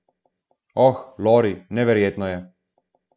Oh, Lori, neverjetno je.